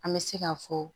An bɛ se ka fɔ